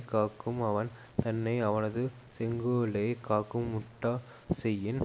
காக்கும் அவன் தன்னை அவனது செங்கோலே காக்கும் முட்டாச் செயின்